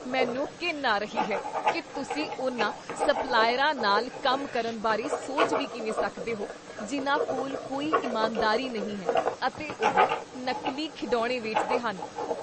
ਮੈਨੂੰ ਘਿਣ ਆ ਰਹੀ ਹੈ ਕੀ ਤੁਸੀਂ ਉਨ੍ਹਾਂ ਸਪਲਾਇਰਾਂ ਨਾਲ ਕੰਮ ਕਰਨ ਬਾਰੇ ਸੋਚ ਵੀ ਕਿਵੇਂ ਸਕਦੇ ਹੋ ਜਿੰਨਾਂ ਕੋਲ ਕੋਈ ਇਮਾਨਦਾਰੀ ਨਹੀਂ ਹੈ ਅਤੇ ਉਹ ਨਕਲੀ ਖਿਡੌਣੇ ਵੇਚਦੇ ਹਨ।